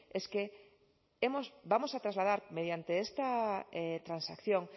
es que vamos a trasladar mediante esta transacción